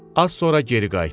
Az sonra geri qayıtdı.